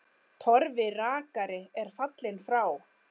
Torfi rakari er fallinn frá.